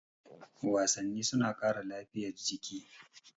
Wasanni suna ƙara lafiya jiki